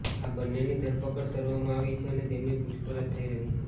આ બન્નેની ધરપકડ કરવામાં આવી છે અને તેમની પૂછપરછ થઈ રહી છે